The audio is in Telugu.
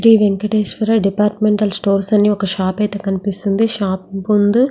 శ్రీ వెంకటేశ్వర డిపార్ట్మెంటల్ స్టోర్స్ అని ఒక షాప్ అయితే కనిపిస్తుంది షాప్ ముందు --